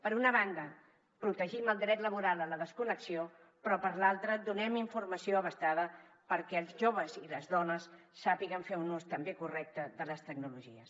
per una banda protegim el dret laboral a la desconnexió però per l’altra donem informació perquè els joves i les dones sàpiguen fer un ús també correcte de les tecnologies